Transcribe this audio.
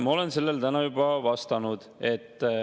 Ma olen sellele täna juba vastanud.